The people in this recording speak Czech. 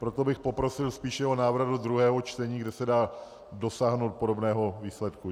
Proto bych poprosil spíše o návrat do druhého čtení, kde se dá dosáhnout podobného výsledku.